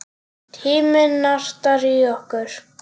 Tíminn nartar í okkur.